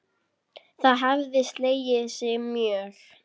Það hefði slegið sig mjög.